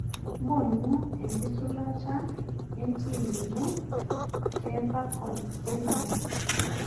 mbonu enkisulata entim ino teafcon ele ari